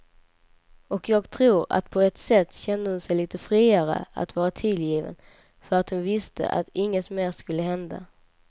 Och jag tror att på ett sätt kände hon sig lite friare att vara tillgiven för att hon visste att inget mer skulle hända.